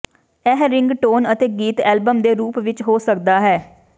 ਇਹ ਿਰੰਗਟੋਨ ਅਤੇ ਗੀਤ ਅਤੇ ਐਲਬਮ ਦੇ ਰੂਪ ਵਿੱਚ ਹੋ ਸਕਦਾ ਹੈ